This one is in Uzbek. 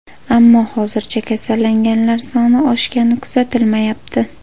Ammo hozircha kasallanganlar soni oshgani kuzatilmayapti.